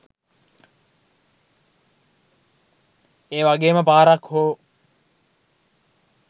ඒවගේම පාරක් හෝ